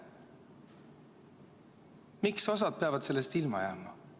Miks osa peab sellest ilma jääma?